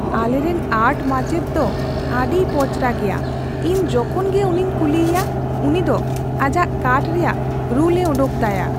ᱟᱞᱮᱨᱮᱱ ᱟᱨᱴ ᱢᱟᱪᱮᱫ ᱫᱚ ᱟᱹᱰᱤᱭ ᱯᱚᱪᱨᱟ ᱜᱮᱭᱟ ᱾ ᱤᱧ ᱡᱚᱠᱷᱚᱱ ᱜᱮ ᱩᱱᱤᱧ ᱠᱩᱞᱤᱭᱮᱭᱟ, ᱩᱱᱤ ᱫᱚ ᱟᱡᱟᱜ ᱠᱟᱴᱷ ᱨᱮᱭᱟᱜ ᱨᱩᱞᱮ ᱚᱰᱚᱠ ᱛᱟᱭᱟ ᱾